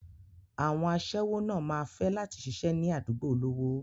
Àwọn àṣẹ́wó náà máa fẹ́ láti ṣiṣẹ́ ní àdúgbò olówó.